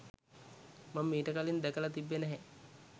මං මිට කලින් දැකල තිබ්බේ නැහැ.